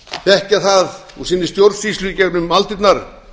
þekkja að úr sinni stjórnsýslu í gegnum aldirnar að